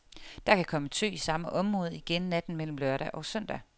Der kan komme tø i samme område igen natten mellem lørdag og søndag.